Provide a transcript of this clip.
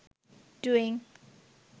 doing